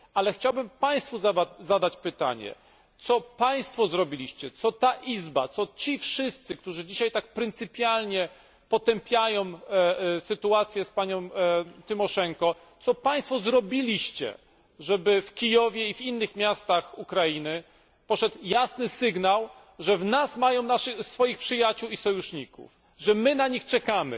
A co Państwo zrobiliście, co ta Izba, co ci wszyscy, którzy dzisiaj tak pryncypialnie potępiają sytuację z panią Tymoszenko, co Państwo zrobiliście, żeby w Kijowie i w innych miastach Ukrainy poszedł jasny sygnał, że w nas mają swoich przyjaciół i sojuszników, że my na nich czekamy,